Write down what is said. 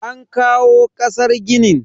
An kawo kasar ginin.